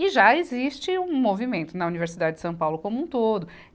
E já existe um movimento na Universidade de São Paulo como um todo.